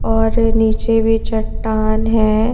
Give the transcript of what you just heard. और नीचे भी चट्टान है.